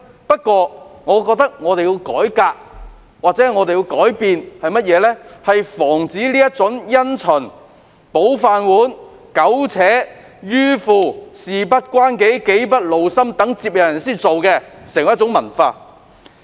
不過，我覺得我們需要改革或改變，以防這種想保着自己的"飯碗"而因循苟且、迂腐、"事不關己，己不勞心"或待接任人處理的做法成為文化。